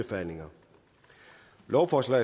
går også